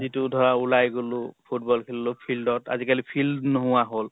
যিটো ধৰা উলাই গলো football খেললো field ত। আজি কালি field নোহোৱা হল।